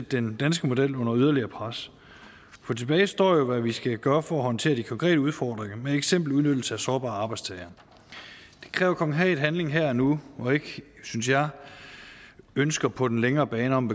den danske model under yderligere pres tilbage står hvad vi skal gøre for at håndtere de konkrete udfordringer eksempelvis udnyttelse af sårbare arbejdstagere det kræver konkret handling her og nu og ikke synes jeg ønsker på den længere bane om